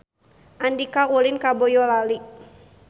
Andika ulin ka Boyolali